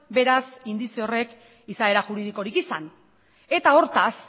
beraz indize horrek izaera juridikorik izan eta hortaz